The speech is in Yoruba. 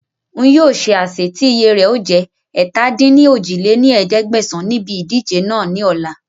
N yìí ó ṣe àsè tí iye rẹ̀ ó jẹ̀ ẹ̀ta-dín-ní-ojì lé ní ẹ̀ẹ́dẹ́gbẹ́sán Níbi ìdíje náà ni ọ̀la